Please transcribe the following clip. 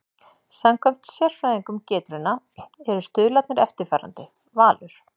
Samkvæmt sérfræðingum Getrauna eru stuðlarnir eftirfarandi: Valur